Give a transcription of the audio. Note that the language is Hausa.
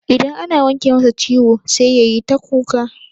Idan ana wanke masa ciwo sai yayi ta kuka.